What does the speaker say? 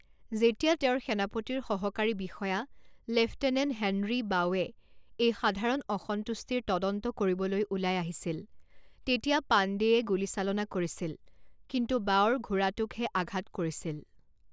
যেতিয়া তেওঁৰ সেনাপতিৰ সহকাৰী বিষয়া লেফটেনেণ্ট হেনৰী বাউৱে এই সাধাৰণ অসন্তুষ্টিৰ তদন্ত কৰিবলৈ ওলাই আহিছিল, তেতিয়া পাণ্ডেয়ে গুলীচালনা কৰিছিল কিন্তু বাউৰ ঘোঁৰাটোকহে আঘাত কৰিছিল।